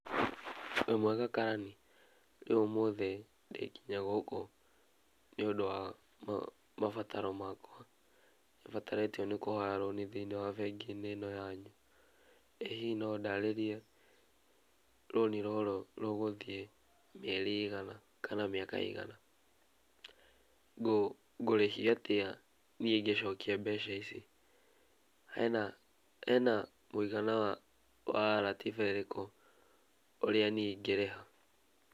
Wĩmwega karani, niĩ ũmũthĩ nĩndekinyia gũkũ nĩũndũ a mabataro makwa nĩbatarĩtio nĩ kũhoya rũni thĩinĩ wa bengi-inĩ ĩno yanyu, ĩ hihi no ũndarĩrie rũni rũrũ rũgũthie mĩeri ĩigana kana mĩaka ĩgana ngũrĩhio atĩa nĩ ngĩcokia mbeca ici, hena mũigana wa ratiba ĩrĩkũ ũrĩa niĩ ĩngĩrĩha?